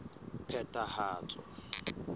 phethahatso